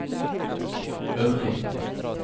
øvrig